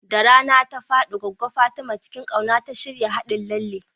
Da rana ta faɗi, Goggo Fatima cikin ƙauna ta shirya haɗin lalle.